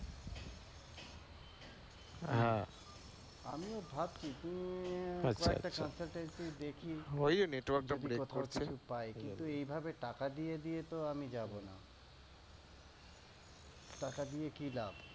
আমিও ভাবছি দু, একটা consultancy দেখি পাই, কিন্তু এভাবে টাকা দিয়ে দিয়ে তো আমি যাবনা । টাকা দিয়ে কি লাভ?